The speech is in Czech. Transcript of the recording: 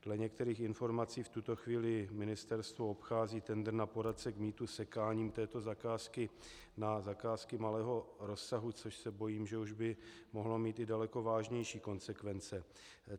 Dle některých informací v tuto chvíli ministerstvo obchází tendr na poradce k mýtu sekáním této zakázky na zakázky malého rozsahu, což se bojím, že už by mohlo mít i daleko vážnější konsekvence.